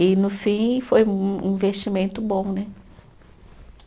E, no fim, foi um um investimento bom, né?